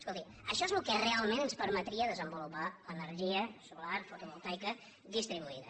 escolti això és el que realment ens permetria desenvolupar energia solar fotovoltaica distribuïda